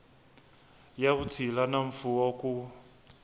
ya vutshila na mfuwo ku